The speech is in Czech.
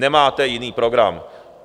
Nemáte jiný program.